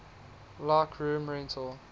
like room rental